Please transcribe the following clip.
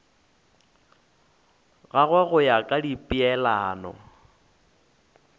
gagwe go ya ka dipeelano